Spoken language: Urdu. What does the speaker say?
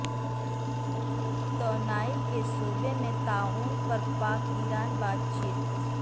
توانائی کے شعبے میں تعاون پر پاک ایران بات چیت